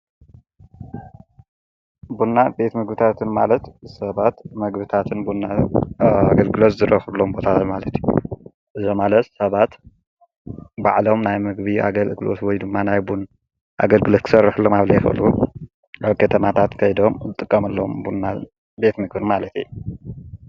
ቡና ቤት ምግብታትን ማለት ሰባት ምግብታትን ብናን ኣገልግሎት ዝረኽብሎም ቦታታት ማለት እዩ። እዚ ማለት ሰባት ባዕሎም ናይ ምግቢ ኣገልግሎት ወይ ዱማ ናይ ቡን ኣገልግሎት ክሰርሕሉ ኣብዘይክእሉ ኣብ ከተማታት ከይዶም ክጥቀምሎም ብና ቤት ቤት ምግብን ማለት እዩ።